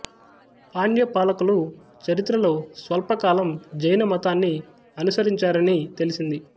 పాండ్య పాలకులు చరిత్రలో స్వల్ప కాలం జైన మతాన్ని అనుసరించారని తెలిసింది